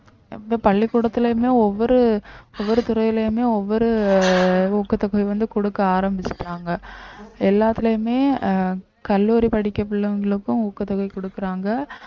பள்ளிக்கூடத்திலயுமே ஒவ்வொரு ஒவ்வொரு துறையிலயுமே ஒவ்வொரு ஊக்கத்தொகை வந்து குடுக்க ஆரம்பிச்சுட்டாங்க எல்லாத்துலயுமே அஹ் கல்லூரி படிக்க பிள்ளைங்களுக்கும் ஊக்கத்தொகை குடுக்கறாங்க